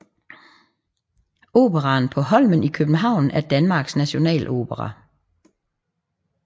Operaen på Holmen i København er Danmarks nationalopera